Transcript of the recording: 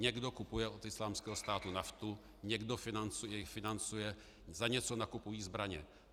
Někdo kupuje od Islámského státu naftu, někdo je financuje, za něco nakupují zbraně.